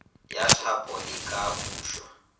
ya thapo e ka bušwa